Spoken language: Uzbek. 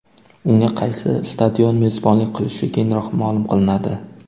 Unga qaysi stadion mezbonlik qilishi keyinroq ma’lum qilinadi.